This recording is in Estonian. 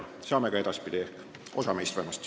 Ehk saame ka edaspidi, osa meist vähemasti.